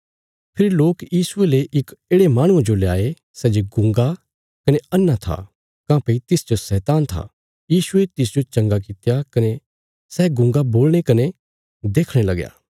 फेरी लोक यीशुये ले इक येढ़े माहणुये जो लयाये सै जे गूँगा कने अन्हा था काँह्भई तिसच शैतान था यीशुये तिसजो चंगा कित्या कने सै गूँगा बोलणे कने देखणे लगया